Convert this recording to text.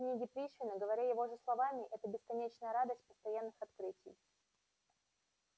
книги пришвина говоря его же словами это бесконечная радость постоянных открытий